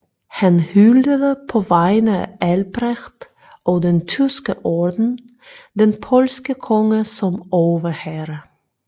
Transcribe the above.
Han hyldede på vegne af Albrecht og den Tyske Orden den polske konge som overherre